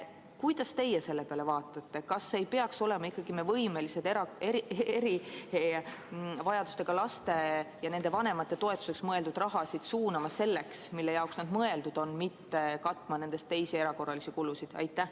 Kuidas teie sellele vaatate, kas me ei peaks olema ikkagi võimelised erivajadusega laste ja nende vanemate toetuseks mõeldud raha suunama selliste kulude katteks, mille jaoks see on mõeldud, mitte katma sellest teisi erakorralisi kulusid?